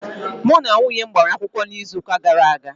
Mụ na nwunye m gbara akwụkwọ n'izuuka gara aga.